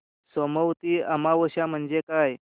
सोमवती अमावस्या म्हणजे काय